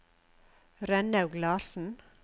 Rønnaug Larssen